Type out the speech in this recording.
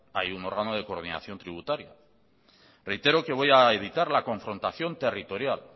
hay un rango de coordinación tributario reitero que voy a evitar la confrontación territorial